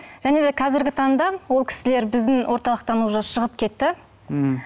және де қазіргі таңда ол кісілер біздің орталықтан уже шығып кетті мхм